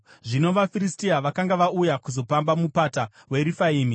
Zvino vaFiristia vakanga vauya kuzopamba mupata weRefaimi;